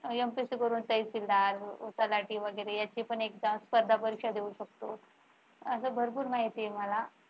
MPSC करून तहसीलदार तलाठी वगैरे याची पण एकदा स्पर्धा परीक्षा देऊ शकतो अस भरपूर माहिती आहे मला